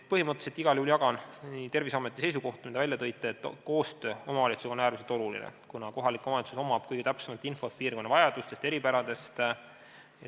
Põhimõtteliselt igal juhul jagan Terviseameti seisukohta, et koostöö omavalitsusega on äärmiselt oluline, kuna kohalikul omavalitsusel on kõige täpsem info piirkonna vajadustest ja eripäradest.